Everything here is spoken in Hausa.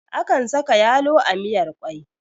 Akan saka yalo a miyar kwai